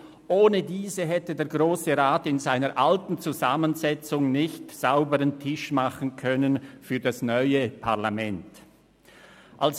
Ohne diese hätte der Grosse Rat in seiner alten Zusammensetzung nicht sauberen Tisch für das neue Parlament machen können.